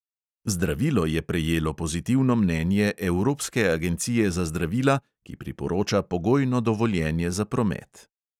Zdravilo je prejelo pozitivno mnenje evropske agencije za zdravila, ki priporoča pogojno dovoljenje za promet.